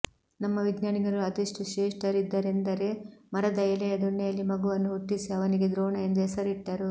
ನಮ್ಮ ವಿಜ್ಞಾನಿಗಳು ಅದೆಷ್ಟು ಶ್ರೇಷ್ಠರಿದ್ದರೆಂದರೆ ಮರದ ಎಲೆಯ ದೊಣ್ಣೆಯಲ್ಲಿ ಮಗುವನ್ನು ಹುಟ್ಟಿಸಿ ಅವನಿಗೆ ದ್ರೋಣ ಎಂದು ಹೆಸರಿಟ್ಟರು